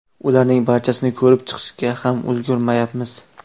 Ularning barchasini ko‘rib chiqishga ham ulgurmayapmiz.